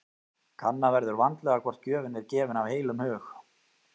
Kanna verður vandlega hvort gjöfin er gefin af heilum hug.